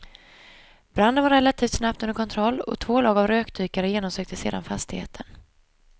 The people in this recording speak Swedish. Branden var relativt snabbt under kontroll och två lag av rökdykare genomsökte sedan fastigheten.